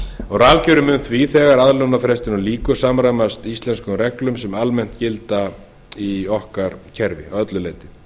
rafkerfið mun því þegar aðlögunarfrestinum lýkur samræmast íslenskum reglum sem almennt gilda í okkar kerfi að öllu leyti